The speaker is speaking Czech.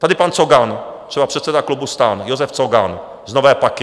Tady pan Cogan třeba, předseda klubu STAN, Josef Cogan z Nové Paky.